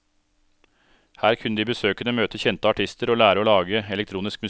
Her kunne de besøkende møte kjente artister og lære å lage elektronisk musikk.